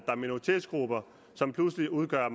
er minoritetsgrupper som pludselig udgør